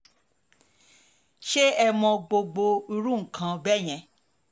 ṣé ẹ mọ gbogbo irú nǹkan bẹ́ẹ̀ yẹn